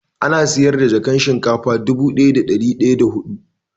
Ana sayar da jakan shinkafa dubu daya da dari daya da hidu